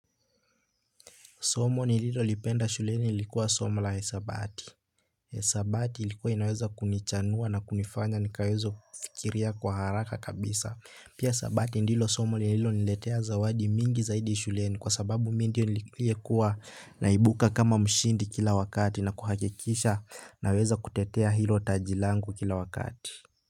Somo nililo lipenda shuleni ilikuwa somo la hisabati. hisabati ilikuwa inaweza kunichanua na kunifanya nikaweze kufikiria kwa haraka kabisa. Pia sabati ndilo somo nililo niletea zawadi mingi zaidi shuleni kwa sababu mimi ndio nilikuwa naibuka kama mshindi kila wakati na kuhakikisha naweza kutetea hilo tajilangu kila wakati.